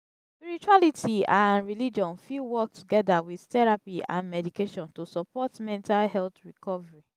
spirituality and religion fit work together with therapy and medication to support mental health recovery.